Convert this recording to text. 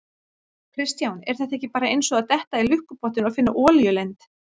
Kristján: Er þetta ekki bara eins og að detta í lukkupottinn og finna olíulind?